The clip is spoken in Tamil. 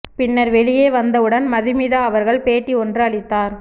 பின்னர் வெளியே வந்தவுடன் மதுமிதா அவர்கள் பேட்டி ஒன்று அளித்தார்